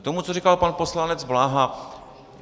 K tomu, co říkal pan poslanec Bláha.